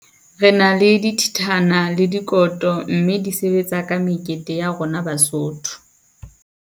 Re na le dithithana le dikoto mme di sebetsa ka mekete ya rona Basotho.